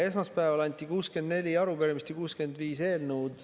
Esmaspäeval anti üle 64 arupärimist ja 65 eelnõu.